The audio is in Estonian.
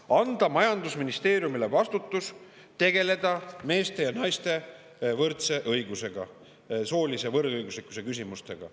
Leitakse, et tuleb anda majandusministeeriumile vastutus tegeleda meeste ja naiste võrdse õigusega, soolise võrdõiguslikkuse küsimustega.